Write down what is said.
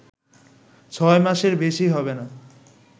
ছয় মাসের বেশি হবে না